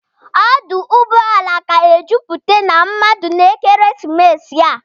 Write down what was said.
Ọdụ ụgbọala ga-ejupụta na mmadụ n'ekeresimesi a.